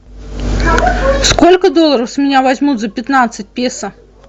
сколько долларов с меня возьмут за пятнадцать песо